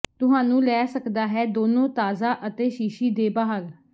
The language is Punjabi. ਤੁਹਾਨੂੰ ਲੈ ਸਕਦਾ ਹੈ ਦੋਨੋ ਤਾਜ਼ਾ ਅਤੇ ਸ਼ੀਸ਼ੀ ਦੇ ਬਾਹਰ